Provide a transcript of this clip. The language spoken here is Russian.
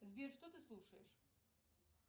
сбер что ты слушаешь